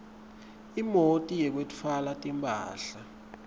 imoti yekwetfwala timphahla